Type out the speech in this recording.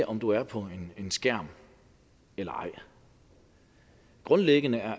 om du er på en skærm eller ej grundlæggende er